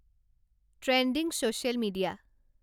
trending social media